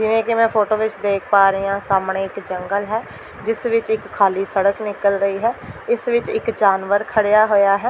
ਜਿਵੇੰ ਕਿ ਮੈਂ ਫੋਟੋ ਵਿੱਚ ਦੇਖ ਪਾ ਰਹੀ ਆਂ ਸਾਹਮਣੇ ਇੱਕ ਜੰਗਲ ਹੈ ਜਿਸ ਵਿੱਚ ਇੱਕ ਖਾਲੀ ਸੜਕ ਨਿਕਲ ਰਹੀ ਹੈ ਇਸ ਵਿੱਚ ਇੱਕ ਜਾਨਵਰ ਖੜਿਆ ਹੋਇਆ ਹੈ।